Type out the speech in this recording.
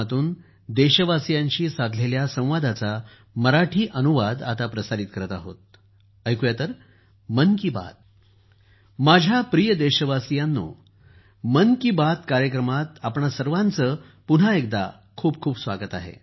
माझ्या प्रिय देशवासियांनो मन की बात कार्यक्रमात आपणा सर्वांचं पुन्हा एकदा खूप खूप स्वागत आहे